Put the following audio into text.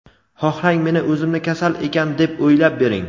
Xohlang meni o‘zimni kasal ekan deb o‘ylab bering.